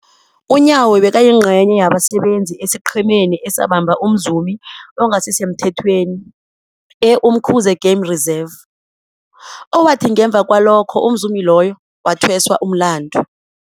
UNyawo bekayingcenye yabasebenza esiqhemeni esabamba umzumi ongasisemthethweni e-Umkhuze Game Reserve, owathi ngemva kwalokho umzumi loyo wathweswa umlandu.